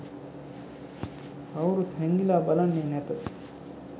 කවුරුත් හැංඟිලා බලන්නේ නැත